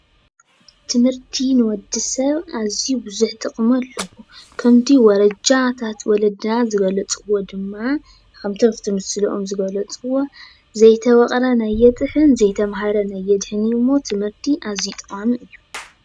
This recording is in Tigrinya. ትምህርቲ ንወዲ ሰብ ኣዝዩ ብዙሕ ጥቕሚ ኣለዎ፡፡ ከምቲ ወረጃታት ወለድና ዝገለፅዎ ድማ ከምቲ ኣብቲ ምስለኦም ዝገለፅዎ ዘይተወቕረን ኣይጥሕን ዘይተማህረን ኣየድሕን እዩ ሞ ትምህርቲ ኣዝዩ ጠቓሚ እዩ፡፡